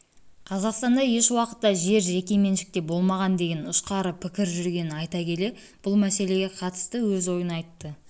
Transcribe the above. қазақстанда еш уақытта жер жеке меншікте болмаған деген ұшқары пікір жүргенін айта келе бұл мәселеге қатысты өз ойын айтты